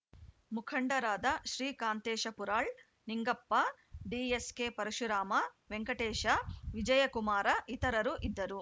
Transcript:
ಮುಖಂಡರಾದ ಶ್ರೀಕಾಂತೇಶ ಪುರಾಳ್‌ ನಿಂಗಪ್ಪ ಡಿಎಸ್‌ಕೆಪರಶುರಾಮ ವೆಂಕಟೇಶ ವಿಜಯಕುಮಾರ ಇತರರು ಇದ್ದರು